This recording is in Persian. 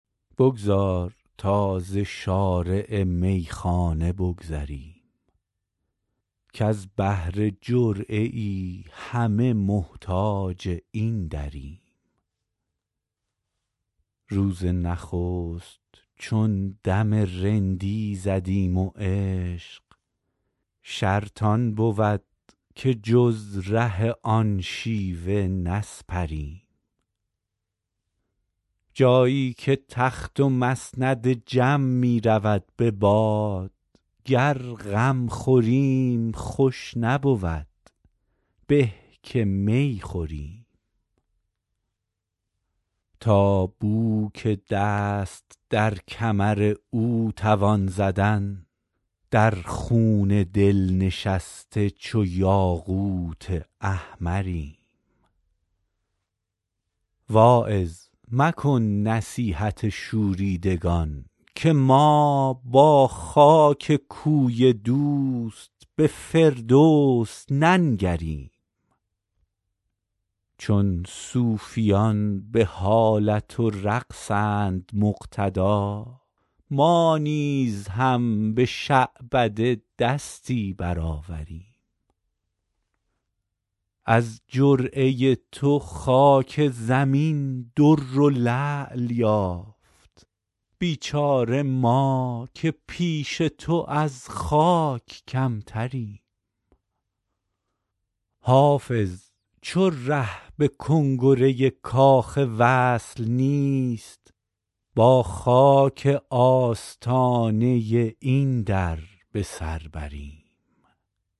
بگذار تا ز شارع میخانه بگذریم کز بهر جرعه ای همه محتاج این دریم روز نخست چون دم رندی زدیم و عشق شرط آن بود که جز ره آن شیوه نسپریم جایی که تخت و مسند جم می رود به باد گر غم خوریم خوش نبود به که می خوریم تا بو که دست در کمر او توان زدن در خون دل نشسته چو یاقوت احمریم واعظ مکن نصیحت شوریدگان که ما با خاک کوی دوست به فردوس ننگریم چون صوفیان به حالت و رقصند مقتدا ما نیز هم به شعبده دستی برآوریم از جرعه تو خاک زمین در و لعل یافت بیچاره ما که پیش تو از خاک کمتریم حافظ چو ره به کنگره کاخ وصل نیست با خاک آستانه این در به سر بریم